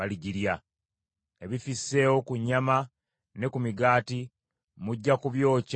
Ebifisseewo ku nnyama ne ku migaati mujja kubyokya mu muliro.